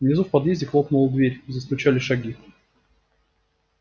внизу в подъезде хлопнула дверь застучали шаги